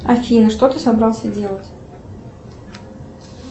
афина что ты собрался делать